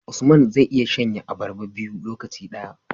Usman zai iya shan ye abarba biyu lokaci daya